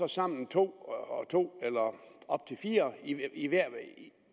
sammen to og to eller op til fire